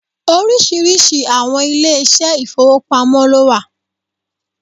Oríṣiríṣi àwọn ilé ìṣẹ́ ìfowópamọ́ lówà